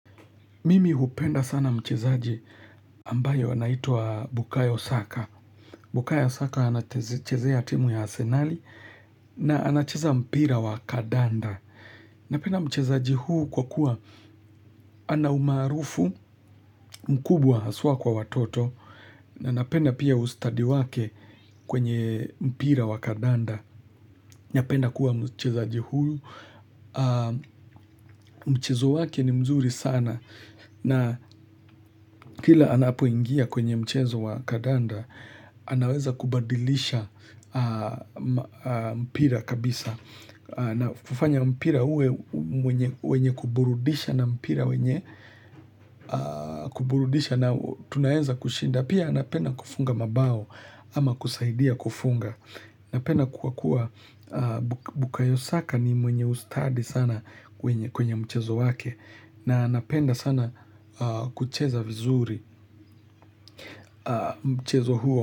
Mimi hupenda sana mchezaji ambaye anaitwa Bukayo Saka. Bukayo Saka anachezea timu ya asenali na anacheza mpira wa kandanda. Napenda mchezaji huyu kwa kuwa ana umaarufu mkubwa haswa kwa watoto. Na napenda pia ustadi wake kwenye mpira wa kandanda. Napenda kuwa mchezaji huyu. Mchezo wake ni mzuri sana na kila anapoingia kwenye mchezo wa kandanda anaweza kubadilisha mpira kabisa na kufanya mpira uwe wenye kuburudisha na mpira wenye kuburudisha na tunaweza kushinda, pia anapenda kufunga mabao ama kusaidia kufunga napenda kuwa kuwa bukayo saka ni mwenye ustadi sana kwenye mchezo wake na anapenda sana kucheza vizuri mchezo huo.